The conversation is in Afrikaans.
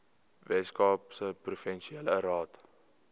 weskaapse provinsiale raad